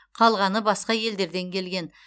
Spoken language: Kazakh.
қалғаны басқа елдерден келген